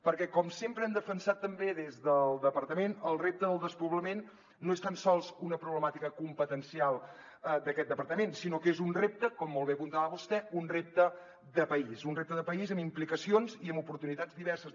perquè com sempre hem defensat també des del departament el repte del despoblament no és tan sols una problemàtica competencial d’aquest departament sinó que és un repte com molt bé apuntava vostè de país un repte de país amb implicacions i amb oportunitats diverses